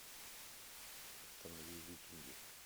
установи викинги